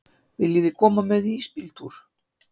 Viljiði koma með í ísbíltúr?